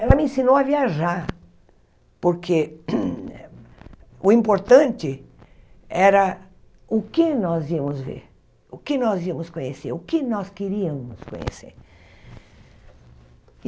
Ela me ensinou a viajar, porque o importante era o que nós íamos ver, o que nós íamos conhecer, o que nós queríamos conhecer.